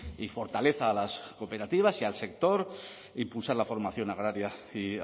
y fortaleza a las cooperativas y al sector impulsar la formación agraria y